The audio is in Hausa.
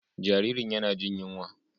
Jaririn yana jin yunwa.